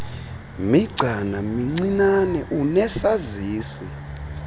migcana mincinane unesazisi